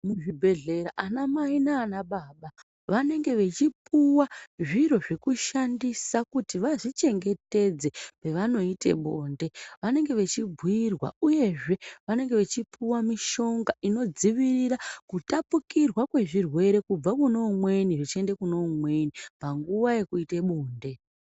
Muzvibhehlera anamai naanababa vanenge vechipuwa zviro zvekushandisa kuti vazvichengetedze pevanoite bonde. Vanenge vechibhuirwa uyezve vanenge vechipuwa mishonga inodzivirira kutapukirwa kwezvirwere kubva kuno umweni zvichiende kun umweni panguva yekuite bonde.